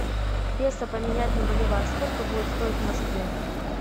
песо поменять на боливар сколько будет стоить в москве